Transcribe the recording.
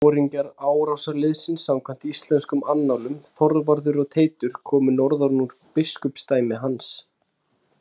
Báðir foringjar árásarliðsins samkvæmt íslenskum annálum, Þorvarður og Teitur, komu norðan úr biskupsdæmi hans.